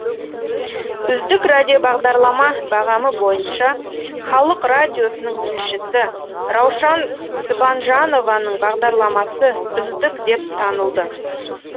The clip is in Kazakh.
үздік радиобағдарлама бағамы бойынша халық радиосының тілшісі раушан сыбанжанованың бағдарламасы үздік деп танылды